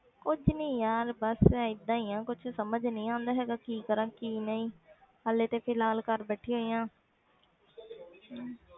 ਕੁੱਝ ਨੀ ਯਾਰ ਬਸ ਏਦਾਂ ਹੀ ਆ ਕੁਛ ਸਮਝ ਨੀ ਆਉਂਦਾ ਹੈਗਾ ਕਿ ਕੀ ਕਰਾਂ ਕੀ ਨਹੀਂ ਹਾਲੇ ਤੇ ਫਿਲਹਾਲ ਘਰ ਬੈਠੀ ਹੋਈ ਹਾਂ